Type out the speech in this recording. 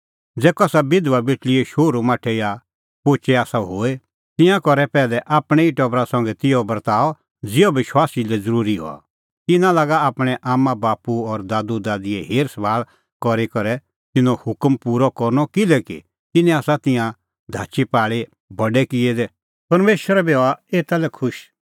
ज़ै कसा बिधबा बेटल़ीए शोहरूमाठै या पोचै आसा होए ता तिंयां करे पैहलै आपणैं ई टबरा संघै तिहअ बर्ताअ ज़िहअ विश्वासी लै ज़रूरी हआ तिन्नां लागा आपणैं आम्मांबाप्पू और दादूदादीए हेरसभाल़ करी तिन्नों हक पूरअ करनअ किल्हैकि तिन्नैं आसा तिंयां धाचीपाल़ी बडै किऐ दै परमेशर बी हआ एता लै खुश